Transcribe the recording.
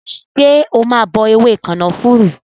Ṣé wa bọ ewé kànáfùrú?